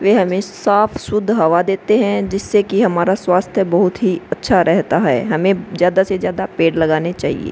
वे हमें साफ सुद्ध हवा देते है जिससे की हमारा स्वास्थ बोहोत ही अच्छा रहता है हमें ज्यादा से ज्यादा पेड़ लगाना चाहिए।